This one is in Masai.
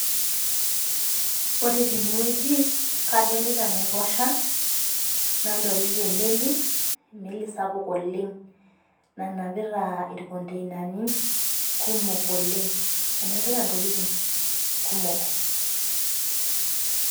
Ore tenewueji kadolita enaiposha nadolita emeli sapuk oleng nanapita ntokitin kumok oleng